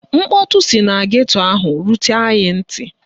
Mkpọtụ si na geto ahụ rutere anyị ntị